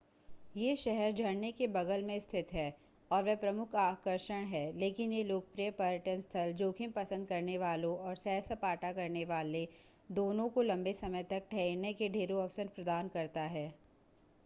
यह शहर झरने के बगल में स्थित है और वे प्रमुख आकर्षण हैं लेकिन यह लोकप्रिय पर्यटन स्थल जोखिम पसंद करने वालों और सैर-सपाटा करनेवाले दोनों को लंबे समय तक ठहरने के ढेरों अवसर प्रदान करता है